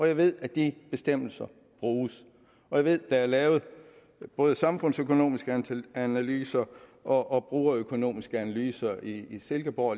jeg ved at de bestemmelser bruges og jeg ved at der er lavet både samfundsøkonomiske analyser og brugerøkonomiske analyser i silkeborg